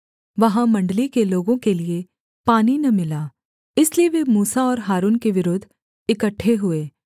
वहाँ मण्डली के लोगों के लिये पानी न मिला इसलिए वे मूसा और हारून के विरुद्ध इकट्ठे हुए